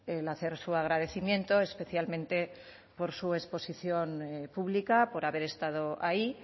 el hacer su agradecimiento especialmente por su exposición pública por haber estado ahí